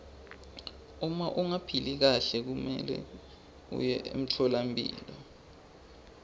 uma ungaphili kahle kumelwe uye emtfolampilo